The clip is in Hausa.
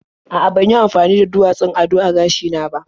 A'a, ban yi amafani da duwatsun ado a gashina ba.